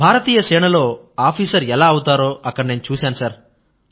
భారతీయ సేనలో ఆఫీసర్ ఎలా అవుతారో అక్కడ నేను చూశాను సర్